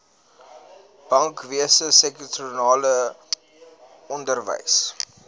bankwese sektorale onderwys